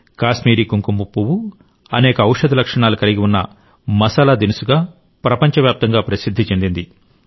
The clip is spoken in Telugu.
కాశ్మీరీ కుంకుమ పువ్వు అనేక ఔషధ లక్షణాలను కలిగి ఉన్న మసాలా దినుసుగా ప్రపంచవ్యాప్తంగా ప్రసిద్ది చెందింది